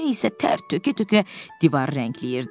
Ben isə tər tökə-tökə divarı rəngləyirdi.